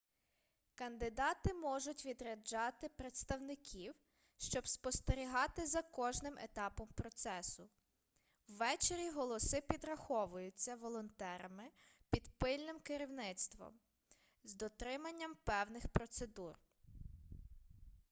кандидати можуть відряджати представників щоб спостерігати за кожним етапом процесу ввечері голоси підраховуються волонтерами під пильним керівництвом з дотриманням певних процедур